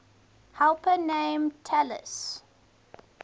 helper named talus